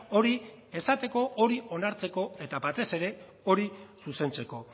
hori esateko hori onartzeko eta batez ere hori zuzentzeko